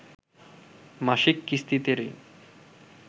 মাসিক কিস্তিতে ঋণ